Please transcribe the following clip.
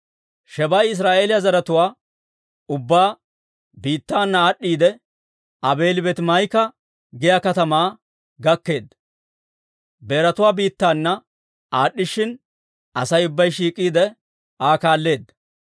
Shebaa'i Israa'eeliyaa zaratuwaa ubbaa biittaana aad'd'iidde, Aabeeli-Beetimaa'ika giyaa katamaa gakkeedda. Beeratuwaa biittaana aad'd'ishshin, Asay ubbay shiik'iide Aa kaalleedda.